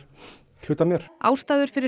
hluti af mér ástæður fyrir